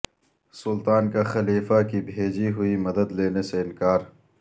سلطان کا خلیفہ کی بھیجی ہوئی مدد لینے سے انکار